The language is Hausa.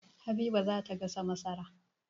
Habiba za ta gasa masara.